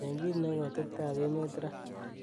cheng' kiit neu atebtab emeet raa